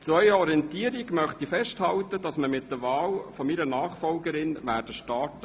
Zu Ihrer Orientierung halte ich fest, dass wir mit der Wahl meiner Nachfolgerin starten werden.